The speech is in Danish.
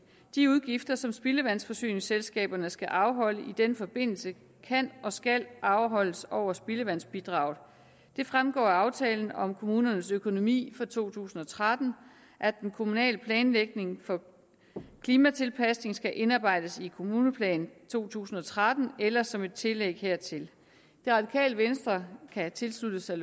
de udgifter som spildevandsforsyningsselskaberne skal afholde i den forbindelse kan og skal afholdes over spildevandsbidraget det fremgår af aftale om kommunernes økonomi for to tusind og tretten at den kommunale planlægning for klimatilpasning skal indarbejdes i kommuneplan to tusind og tretten eller som et tillæg hertil det radikale venstre kan tilslutte sig